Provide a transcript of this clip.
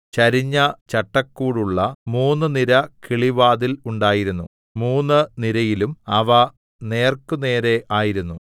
ചരിഞ്ഞ ചട്ടക്കൂടുള്ള മൂന്നു നിര കിളിവാതിൽ ഉണ്ടായിരുന്നു മൂന്നു നിരയിലും അവ നേർക്കുനേരെ ആയിരുന്നു